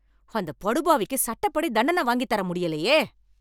அந்த படுபாவிக்கு சட்டப்படி தண்டன வாங்கித் தர முடியலையே.